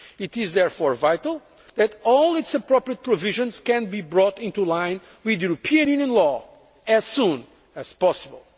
It is therefore vital that all its appropriate provisions can be brought into line with European Union law as soon as possible.